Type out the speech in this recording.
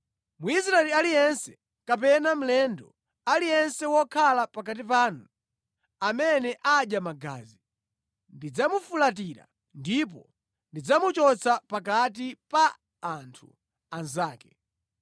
“Mwisraeli aliyense kapena mlendo aliyense wokhala pakati panu amene adya magazi, ndidzamufulatira ndipo ndidzamuchotsa pakati pa anthu anzake.